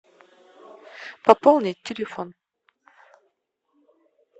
пополнить телефон